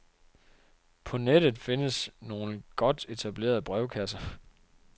På nettet findes nogle godt etablerede brevkasser.